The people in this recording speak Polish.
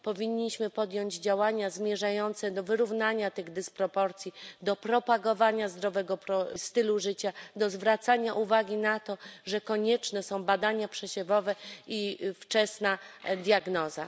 Powinniśmy podjąć działania zmierzające do wyrównania tych dysproporcji, do propagowania zdrowego stylu życia, do zwracania uwagi na to, że konieczne są badania przesiewowe i wczesna diagnoza.